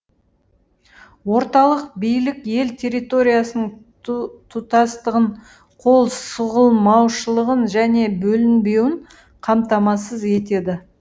орталық билік ел территориясының тұтастығын қол сұғылмаушылығын және бөлінбеуін қамтамасыз етеді